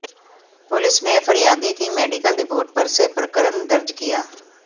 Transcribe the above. police ने फरियादी की मेडीकल रिपोर्ट पर से प्रकरण दर्ज किया